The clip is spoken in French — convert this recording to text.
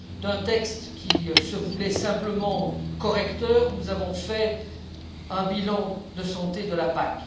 D'un texte qui se voulait simplement correcteur, nous avons fait un bilan de santé de la PAC.